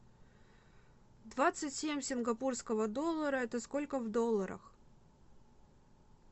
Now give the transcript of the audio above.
двадцать семь сингапурского доллара это сколько в долларах